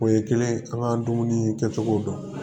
O ye kelen an ka dumuni kɛcogo dɔn